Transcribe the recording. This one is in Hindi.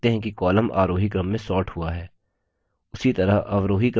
आप देखते हैं कि column आरोही क्रम में sorted हुआ है